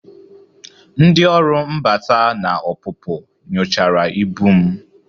Ndị ọrụ mbata na ọpụpụ nyochara ibu m